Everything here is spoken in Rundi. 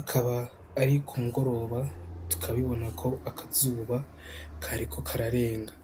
akaba ari ku mugoroba tukabibona ko akazuba kariko kararenga.